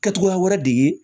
Kɛ cogoya wɛrɛ de ye